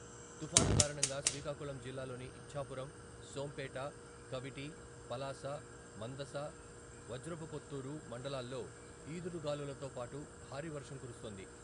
తుఫాను కారణంగా శ్రీకాకుళం జిల్లాలోని ఇచ్ఛాపురం, సోంపేట, కవిటి, పలాస, మందస, వజ్రపుకొత్తూరు మండలాల్లో ఈదురుగాలులతో పాటు భారీ వర్షం కురుస్తోంది.